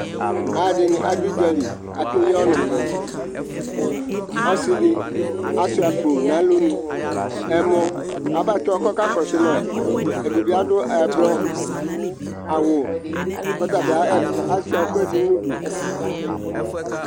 Adɩnɩ adʋ udza li, ake yɩ ɔnʋ Ɔsɩdɩ ashʋa akpo nʋ ɛlʋ nɩ Ɛmɔ abatɔ kʋ ɔka kɔsʋ ma Ɛdɩ bɩ adʋ ɛblɔ aɣʋ kʋ ɔta bɩ ashʋa ɛkʋ ɛdɩ nʋ ʋdʋ